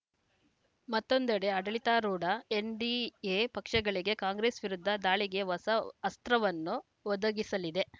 ಮತ್ತೊಂದೆಡೆ ಆಡಳಿತಾರೂಢ ಎನ್‌ಡಿಎ ಪಕ್ಷಗಳಿಗೆ ಕಾಂಗ್ರೆಸ್‌ ವಿರುದ್ಧ ದಾಳಿಗೆ ಹೊಸ ಅಸ್ತ್ರವನ್ನು ಒದಗಿಸಲಿದೆ